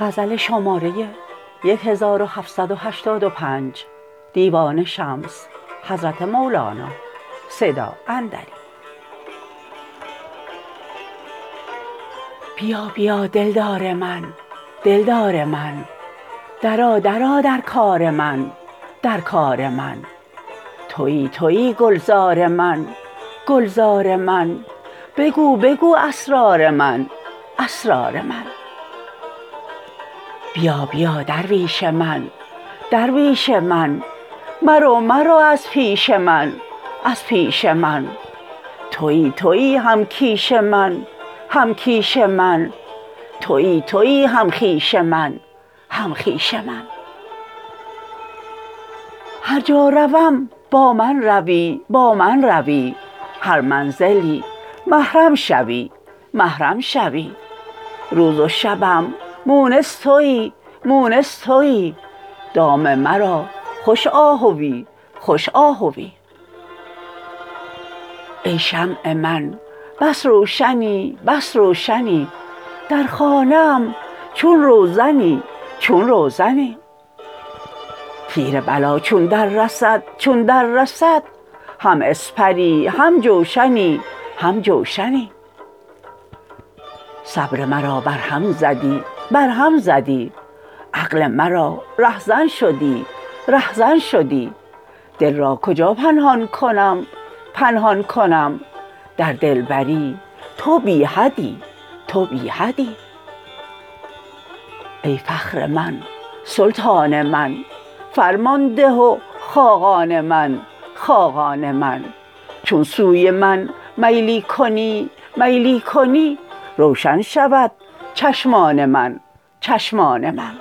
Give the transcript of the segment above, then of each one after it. بیا بیا دلدار من دلدار من درآ درآ در کار من در کار من تویی تویی گلزار من گلزار من بگو بگو اسرار من اسرار من بیا بیا درویش من درویش من مرو مرو از پیش من از پیش من تویی تویی هم کیش من هم کیش من تویی تویی هم خویش من هم خویش من هر جا روم با من روی با من روی هر منزلی محرم شوی محرم شوی روز و شبم مونس تویی مونس تویی دام مرا خوش آهویی خوش آهویی ای شمع من بس روشنی بس روشنی در خانه ام چون روزنی چون روزنی تیر بلا چون دررسد چون دررسد هم اسپری هم جوشنی هم جوشنی صبر مرا برهم زدی برهم زدی عقل مرا رهزن شدی رهزن شدی دل را کجا پنهان کنم پنهان کنم در دلبری تو بی حدی تو بی حدی ای فخر من سلطان من سلطان من فرمان ده و خاقان من خاقان من چون سوی من میلی کنی میلی کنی روشن شود چشمان من چشمان من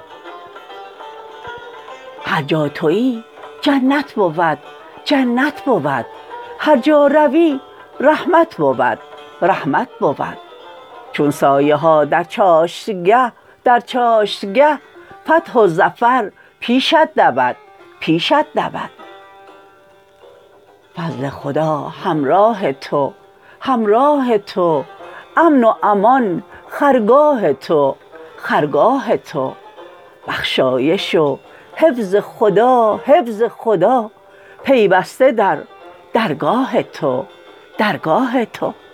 هر جا توی جنت بود جنت بود هر جا روی رحمت بود رحمت بود چون سایه ها در چاشتگه در چاشتگه فتح و ظفر پیشت دود پیشت دود فضل خدا همراه تو همراه تو امن و امان خرگاه تو خرگاه تو بخشایش و حفظ خدا حفظ خدا پیوسته در درگاه تو درگاه تو